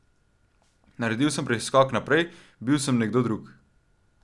Naredil sem preskok naprej, bil sem nekdo drug.